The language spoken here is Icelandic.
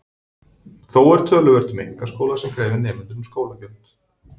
Þó er töluvert um einkaskóla sem krefja nemendur um skólagjöld.